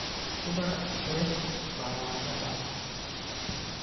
Ku dar milix baradhada.